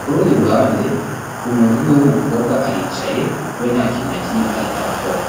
ku rundi ruhande umuntu umwe w'umukobwa aricaye we nta kintu na kimwe ariko arakora.